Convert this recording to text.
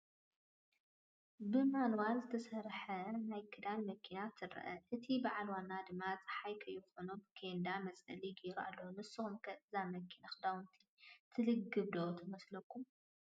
ብማኑዋል ትሰርሕ ናይ ክዳን መኪና ትረአ፡፡ እቲ ባዓል ዋናኣ ድማ ፀሓይ ከይኾኖ ብኬንዳ መፅለሊ ገይሩላ ኣሎ፡፡ ንስኹም ከ እዛ መኪና ክዳውንቲ ትልግብ ዶ ትመስለኩም?